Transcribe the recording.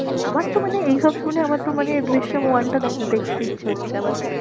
আমার তো মানে এইসব শুনে আমার তো মানে জিসিম ওয়ানটা দেখতে ইচ্ছা আবার।